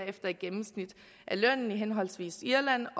efter et gennemsnit af lønnen i henholdsvis irland